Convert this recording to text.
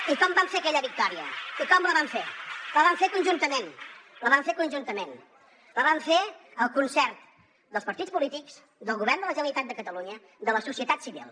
i com vam fer aquella victòria i com la vam fer la vam fer conjuntament la vam fer conjuntament la van fer el concert dels partits polítics del govern de la generalitat de catalunya de la societat civil